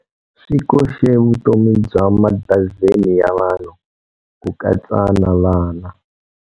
Swi koxe vutomi bya madazeni ya vanhu, ku katsa na vana.